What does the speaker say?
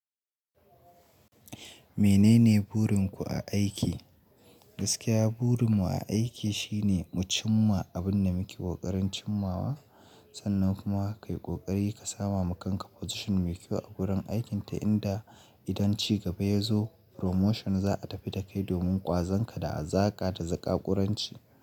Menene burin ku a aiki? Gaskiya burin mu a aiki shine mu cimma abin da muke ƙoƙarin cimmawa. Sannan kuma ka yi ƙoƙari ka sama kanka position mai kyau a gurin aikin ta inda idan ci gaba ya zo promotion za a tafi da kai domin ƙwazon ka da a zaƙa da zaƙa ƙuranci.